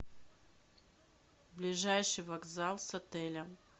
ближайший вокзал с отеля